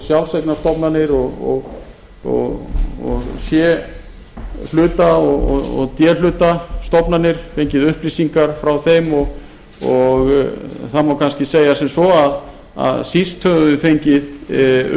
sjálfseignarstofnanir og c hluta og d hluta stofnanir fengið upplýsingar frá þeim og það má kannski segja sem svo að síst höfum við fengið